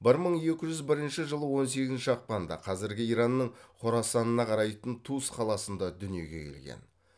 бір мың екі жүз бірінші жылы он сегізінші ақпанда қазіргі иранның хорасанынна қарайтын тус қаласында дүниеге келген